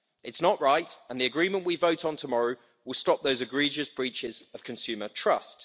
It's not right, and the agreement we vote on tomorrow will stop those egregious breaches of consumer trust.